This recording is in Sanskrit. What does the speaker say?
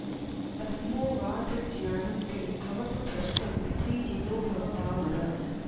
ब्रह्मोवाच ज्ञानं ते भवतु भ्रष्टं स्त्रीजितो भव पामर